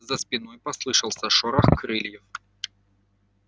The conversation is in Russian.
за спиной послышался шорох крыльев